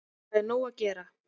Það er nóg að gera.